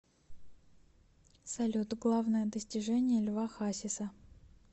салют главное достижение льва хасиса